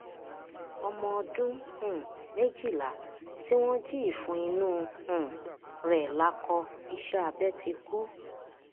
ọmọ ọdún um méjìlá tí wọn jí ìfun inú um rẹ lákọ iṣẹ abẹ ti kú